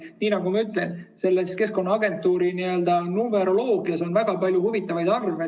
Nii nagu ma ütlesin: Keskkonnaagentuuri n‑ö numeroloogias on väga palju huvitavaid arve.